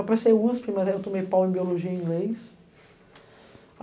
Eu passei USP, mas aí eu tomei pau em Biologia e Inglês.